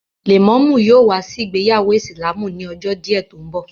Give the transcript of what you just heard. Lẹ̀mọ́mú yóò wá sí ìgbéyàwó ìsìlámù ni ọjọ́ díẹ̀ tó ń bọ̀